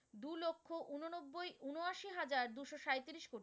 আশি হাজার দুশো সাঁইত্রিশ কোটি,